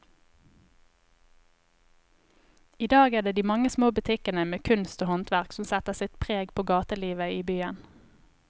I dag er det de mange små butikkene med kunst og håndverk som setter sitt preg på gatelivet i byen.